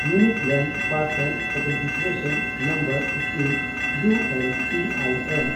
ᱤᱣᱱᱤᱠ land parcel identification number scheme (U L P I ᱮᱱ)